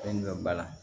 Fɛn min bɛ ba la